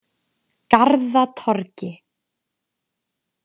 Garðatorgi